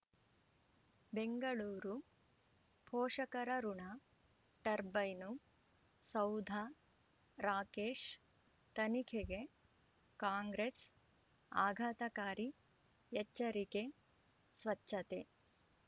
ಬೆಂಗಳೂರು ಪೋಷಕರಋಣ ಟರ್ಬೈನು ಸೌಧ ರಾಕೇಶ್ ತನಿಖೆಗೆ ಕಾಂಗ್ರೆಸ್ ಆಘಾತಕಾರಿ ಎಚ್ಚರಿಕೆ ಸ್ವಚ್ಛತೆ